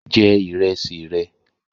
Je ìrẹsì re